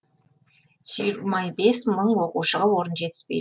жиырма бес мың оқушыға орын жетіспейді